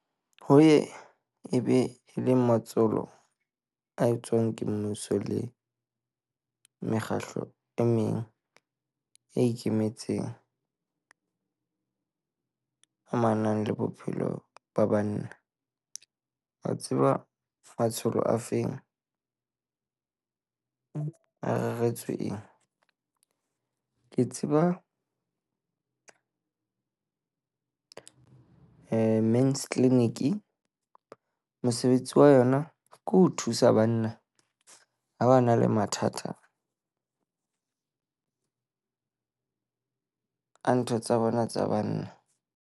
Ho ye e be e le matsholo a etswang ke mmuso le mekgahlo e meng e ikemetseng amanang le bophelo ba banna. Ba tseba matsholo a feng, a reretswe eng? Ke tseba Men's clinic, mosebetsi wa yona ke ho thusa banna ha ba na le mathata a ntho tsa bona tsa banna.